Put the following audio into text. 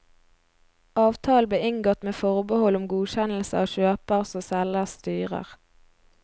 Avtalen ble inngått med forbehold om godkjennelse av kjøpers og selgers styrer.